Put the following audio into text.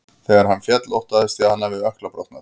Þegar hann féll óttaðist ég að hann hafi ökkla brotnað.